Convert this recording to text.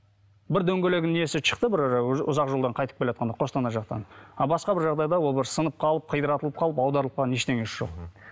бір дөңгелегінің несі шықты бір ұзақ жолдан қайтып келеатқанда қостанай жақтан а басқа бір жағдайда ол бір сынып қалып қиратылып қалып аударылып қалған ештеңесі жоқ мхм